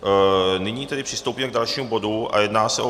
Nyní tedy přistoupíme k dalšímu bodu a jedná se o